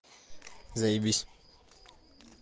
заебись